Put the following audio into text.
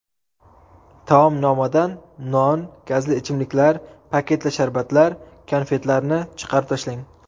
Taomnomadan non, gazli ichimliklar, paketli sharbatlar, konfetlarni chiqarib tashlang.